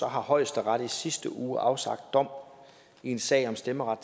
højesteret i sidste uge afsagt dom i en sag om stemmeret